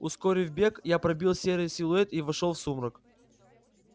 ускорив бег я пробил серый силуэт и вошёл в сумрак